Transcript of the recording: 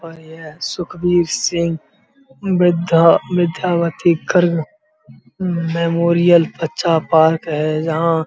और यह सुखबीर सिंह बिर्धा मेमोरियल बच्चा पार्क है जहां --